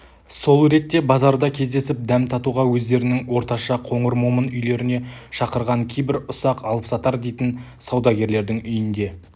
сол ретте базарда кездесіп дәм татуға өздерінің орташа қоңыр момын үйлеріне шақырған кейбір ұсақ алыпсатар дейтін саудагерлер үйінде